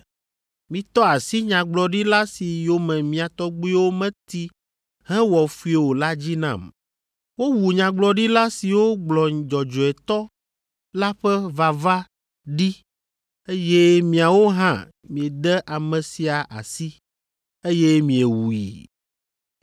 Mitɔ asi nyagblɔɖila si yome mia tɔgbuiwo meti hewɔ fui o la dzi nam. Wowu nyagblɔɖila siwo gblɔ Dzɔdzɔetɔ la ƒe vava ɖi eye miawo hã miede ame sia asi, eye miewui.